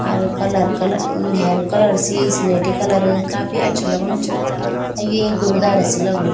अर colour colour अ हेरू colour सी स्लेटी कलर काफी अच्छू अलग्नु च और यु एक गुरुद्वारा सी लगणु